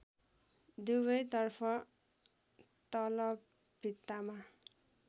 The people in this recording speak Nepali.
दुवैतर्फ तल भित्तामा